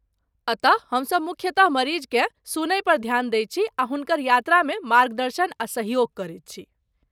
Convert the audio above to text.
अतः हमसभ मुख्यतः मरीजकेँ सुनयपर ध्यान दैत छी आ हुनकर यात्रामे मार्गदर्शन आ सहयोग करैत छी।